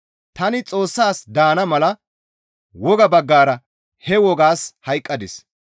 Tani Xoossas daana mala wogaa baggara he wogaas hayqqadis.